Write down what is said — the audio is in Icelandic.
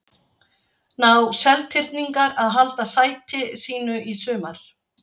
Ná Seltirningar að halda sæti sínu í sumar?